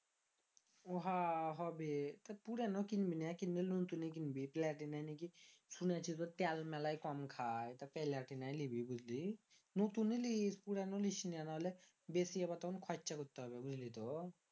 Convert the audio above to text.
হ হবে তো পুরানো কিনবি না কিনলে লতুন এ কিনবি platina শুনেছি যে তেল মেলা কম খায় লিবি বুঝলি লতুন এ লিস পুরানো লিস না নাহলে বেশি আবার তখন খৈরচা করতে হবে বুঝলি তো